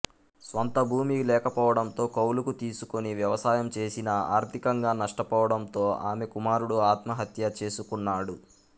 స్వంత భూమి లేకపోవడంతో కౌలుకు తీసుకుని వ్యవసాయం చేసినా ఆర్థికంగా నష్టపోవడంతో ఆమె కుమారుడు ఆత్మహత్య చేసుకున్నాడు